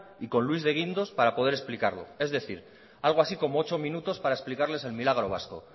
y con luis de guindos para poder explicarlo es decir algo así como ocho minutos para explicarles el milagro vasco